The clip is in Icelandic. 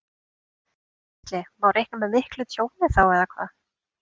Gísli: Má reikna með miklu tjóni þá eða hvað?